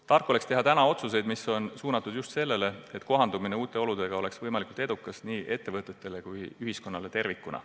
Tark on teha täna selliseid otsuseid, mis on suunatud just sellele, et kohanemine uute oludega oleks võimalikult edukas nii ettevõtetele kui ka ühiskonnale tervikuna.